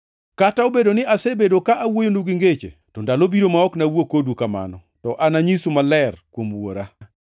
“Kata obedo ni asebedo ka awuoyonu gi ngeche, to ndalo biro ma ok nawuo kodu kamano, to ananyisu maler kuom Wuora.